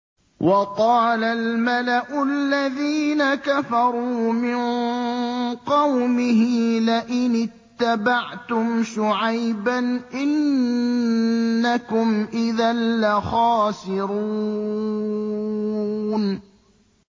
وَقَالَ الْمَلَأُ الَّذِينَ كَفَرُوا مِن قَوْمِهِ لَئِنِ اتَّبَعْتُمْ شُعَيْبًا إِنَّكُمْ إِذًا لَّخَاسِرُونَ